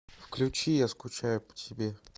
включи я скучаю по тебе